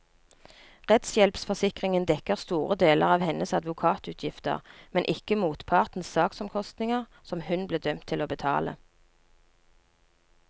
Rettshjelpforsikringen dekker store deler av hennes advokatutgifter, men ikke motpartens saksomkostninger, som hun ble dømt til å betale.